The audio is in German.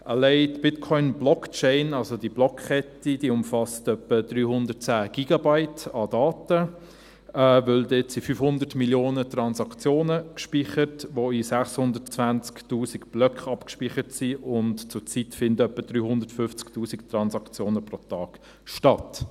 Allein die Bitcoin-Blockchain, also die Blockkette, umfasst etwa 310 Gigabytes an Daten, weil dort 500 Mio. Transaktionen gespeichert sind, die in 620’000 Blöcken abgespeichert sind, und zurzeit finden ungefähr 350’000 Transaktionen pro Tag statt.